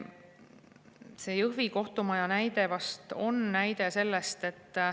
See Jõhvi kohtumaja näide vast on näide sellest.